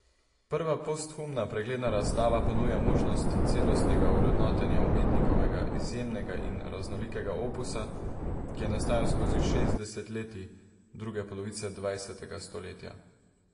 Prva posthumna pregledna razstava ponuja možnost celostnega ovrednotenja umetnikovega izjemnega in raznolikega opusa, ki je nastajal skozi šest desetletij druge polovice dvajsetega stoletja.